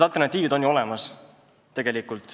Alternatiivid on ju olemas.